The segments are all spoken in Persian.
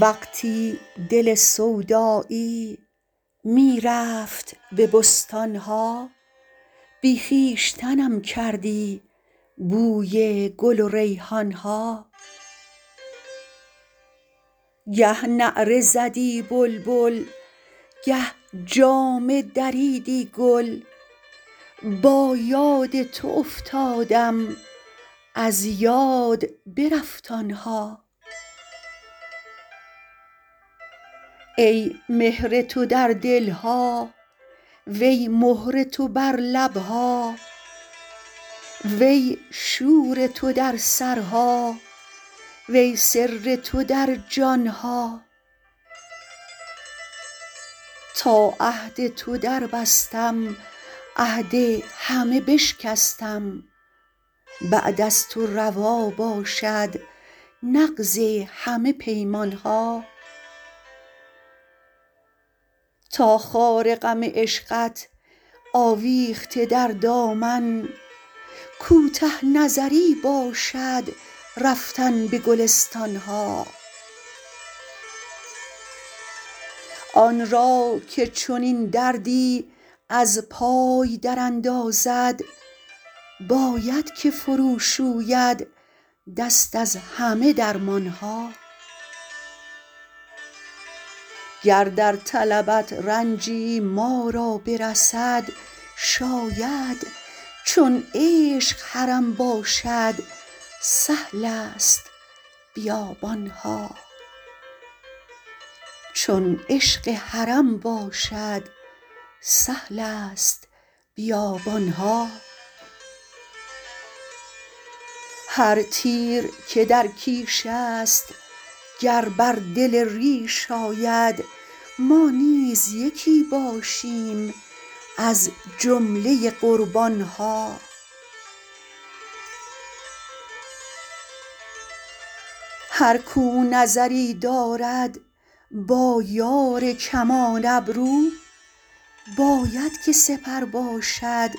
وقتی دل سودایی می رفت به بستان ها بی خویشتنم کردی بوی گل و ریحان ها گه نعره زدی بلبل گه جامه دریدی گل با یاد تو افتادم از یاد برفت آن ها ای مهر تو در دل ها وی مهر تو بر لب ها وی شور تو در سرها وی سر تو در جان ها تا عهد تو دربستم عهد همه بشکستم بعد از تو روا باشد نقض همه پیمان ها تا خار غم عشقت آویخته در دامن کوته نظری باشد رفتن به گلستان ها آن را که چنین دردی از پای دراندازد باید که فروشوید دست از همه درمان ها گر در طلبت رنجی ما را برسد شاید چون عشق حرم باشد سهل است بیابان ها هر تیر که در کیش است گر بر دل ریش آید ما نیز یکی باشیم از جمله قربان ها هر کاو نظری دارد با یار کمان ابرو باید که سپر باشد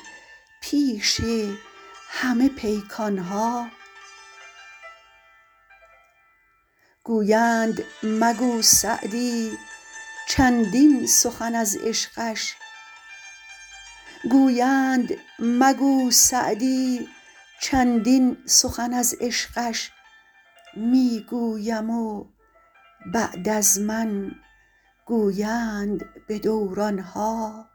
پیش همه پیکان ها گویند مگو سعدی چندین سخن از عشقش می گویم و بعد از من گویند به دوران ها